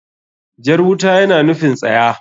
Jar wuta yana nufin tsaya.